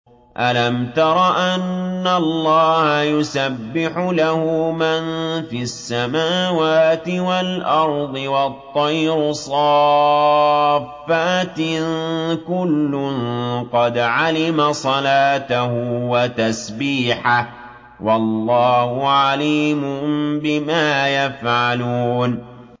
أَلَمْ تَرَ أَنَّ اللَّهَ يُسَبِّحُ لَهُ مَن فِي السَّمَاوَاتِ وَالْأَرْضِ وَالطَّيْرُ صَافَّاتٍ ۖ كُلٌّ قَدْ عَلِمَ صَلَاتَهُ وَتَسْبِيحَهُ ۗ وَاللَّهُ عَلِيمٌ بِمَا يَفْعَلُونَ